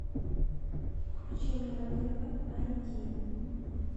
включи мне на тв айди